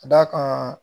Ka d'a kan